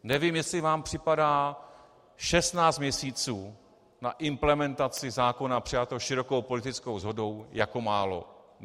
Nevím, jestli vám připadá 16 měsíců na implementaci zákona přijatého širokou politickou shodou jako málo.